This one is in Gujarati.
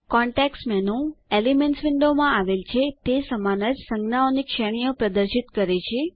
કન્ટેક્સ્ટ મેનુ એલિમેન્ટ્સ વિન્ડો માં આવેલ છે તે સમાન જ સંજ્ઞાઓની શ્રેણીઓ પ્રદર્શિત કરે છે